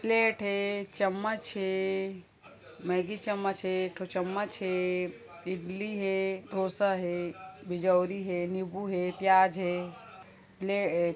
Plate हे चम्मच हे मैगी चम्मच हे एक ठो चम्मच हे इडली है डोसा हे बिजउरी हे निबू हे प्याज हे।